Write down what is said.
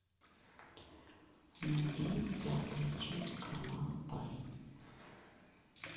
найди пятая часть кровавый парень